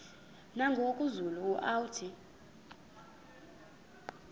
nangoku zulu uauthi